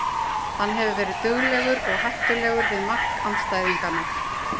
Hann hefur verið duglegur og hættulegur við mark andstæðinganna.